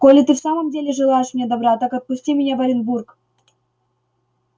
коли ты в самом деле желаешь мне добра так отпусти меня в оренбург